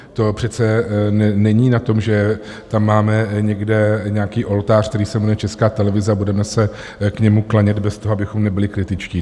To přece není o tom, že tam máme někde nějaký oltář, který se jmenuje Česká televize, a budeme se k němu klanět bez toho, abychom byli kritičtí.